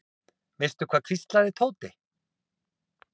Veistu það hvíslaði Tóti.